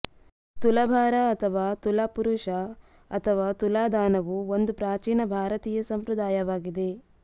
ತುಲಾಭಾರ ಅಥವಾ ತುಲಾಪುರುಷ ಅಥವಾ ತುಲಾದಾನವು ಒಂದು ಪ್ರಾಚೀನ ಭಾರತೀಯ ಸಂಪ್ರದಾಯವಾಗಿದೆ